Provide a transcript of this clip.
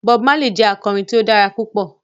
Bob Marley jẹ akọrin tí o dára pupọ